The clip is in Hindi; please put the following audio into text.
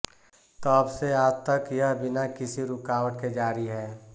तब से आज तक यह बिना किसी रुकावट के जारी है